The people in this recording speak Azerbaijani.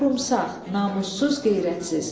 Qorumsaq, namussuz, qeyrətsiz.